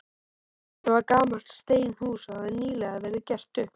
Þetta var gamalt steinhús, og hafði nýlega verið gert upp.